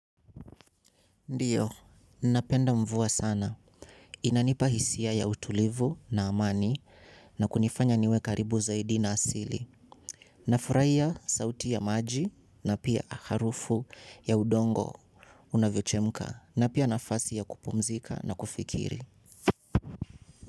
Ndiyo, napenda mvua sana. Inanipa hisia ya utulivu na amani na kunifanya niwe karibu zaidi na asili. Nafurahia sauti ya maji na pia harufu ya udongo unavyochemka na pia nafasi ya kupumzika na kufikiri.